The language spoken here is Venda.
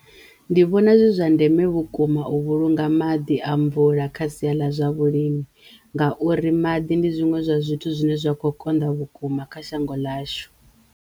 Ndi vhona zwi zwa ndeme vhukuma u vhulunga maḓi a mvula kha siya ḽa zwa vhulimi ngauri maḓi ndi zwiṅwe zwa zwithu zwine zwa kho konḓa vhukuma kha shango ḽashu.